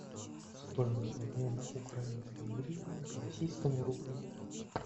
стоимость обмена украинской гривны к российскому рублю